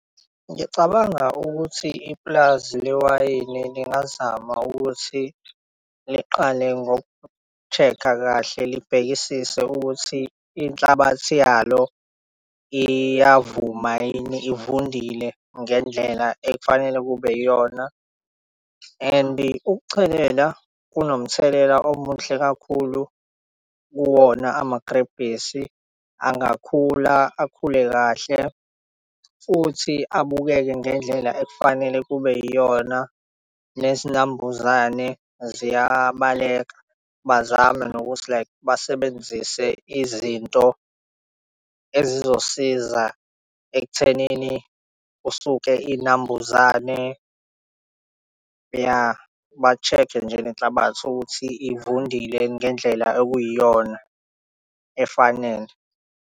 Ngicabanga ukuthi ipulazi lewayini lingazama ukuthi liqale ngoku-check-a kahle libhekisise ukuthi inhlabathi yalo iyavuma yini ivundile ngendlela ekufanele kube yiyona. And ukuchelela kunomthelela omuhle kakhulu kuwona amagrebhisi angakhula, akhule kahle. Futhi abukeke ngendlela ekufanele kube yiyona nezinambuzane ziyabaleka. Bazame nokuthi like basebenzise izinto ezizosiza ekuthenini usuke inambuzane. Ya, ba-check-e nje inhlabathi ukuthi ivundile ngendlela okuyiyona, efanele.